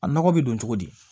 A nɔgɔ bɛ don cogo di